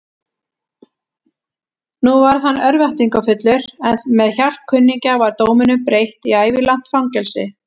Nú varð hann örvæntingarfullur, en með hjálp kunningja var dóminum breytt í ævilangt fangelsi.